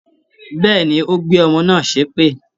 Bẹ́ẹ̀ni, ó gbé ọmọ náà ṣépè